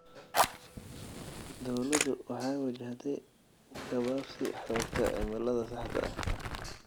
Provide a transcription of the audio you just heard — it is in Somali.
Dawladdu waxay wajahday gabaabsi xogta cimilada saxda ah.